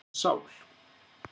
Ertu með sál?